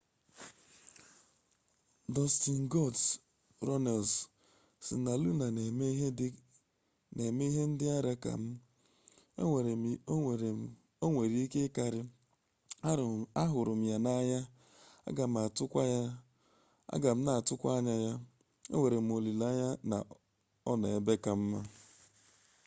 dọstin goldọst runnels sị na luna na-eme ihe ndị ara ka m...onwere ike karịa... ahụrụ m ya n'anya aga m na atụkwa anya ya... enwerem olileanya na ọnọ ebe ka mma.